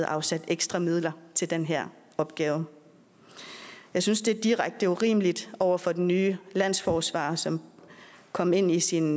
afsat ekstra midler til den her opgave jeg synes det er direkte urimeligt over for den nye landsforsvarer som kom ind i sin